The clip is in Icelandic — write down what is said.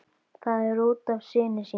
Það er út af syni þínum.